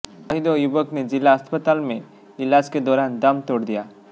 वहीं दो युवकों ने जिला अस्पताल में इलाज के दौरान दम तोड़ दिया